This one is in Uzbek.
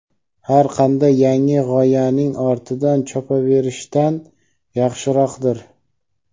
har qanday yangi g‘oyaning ortidan chopaverishdan yaxshiroqdir.